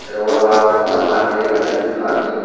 sero pala bana pani dega jaidey pani.